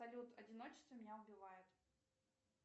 салют одиночество меня убивает